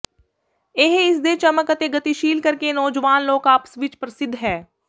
ਇਹ ਇਸ ਦੇ ਚਮਕ ਅਤੇ ਗਤੀਸ਼ੀਲ ਕਰਕੇ ਨੌਜਵਾਨ ਲੋਕ ਆਪਸ ਵਿੱਚ ਪ੍ਰਸਿੱਧ ਹੈ